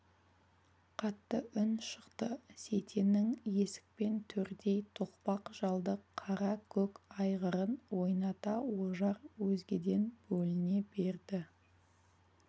қатты үн шықты сейтеннің есік пен төрдей тоқпақ жалды қара көк айғырын ойната ожар өзгеден бөліне берді